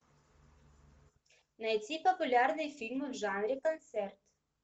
найти популярные фильмы в жанре концерт